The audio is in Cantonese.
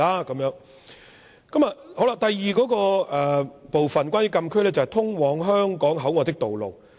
關於禁區的第二部分，是通往香港口岸的道路。